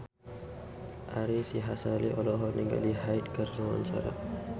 Ari Sihasale olohok ningali Hyde keur diwawancara